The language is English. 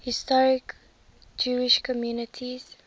historic jewish communities